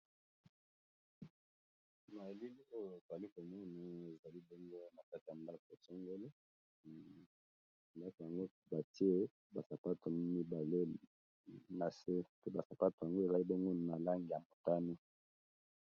Na elili oyo toali komoni ezali bongo na kati ya ndako songolo ndako yango batye ba sapato mibale na se, pe ba sapato yango eza na langi ya motani.